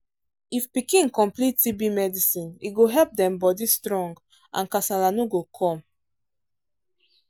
if pikin complete tb medicine e go help dem body strong and kasala no go come.